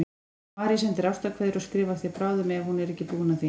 Marie sendir ástarkveðjur og skrifar þér bráðum ef hún er ekki búin að því.